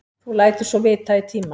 Þú lætur svo vita í tíma.